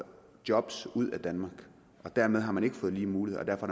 job ud af danmark og dermed har man ikke fået lige muligheder og